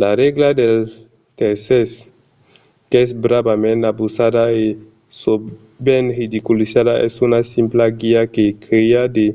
la règla dels tèrces qu'es bravament abusada e sovent ridiculizada es una simpla guida que crèa de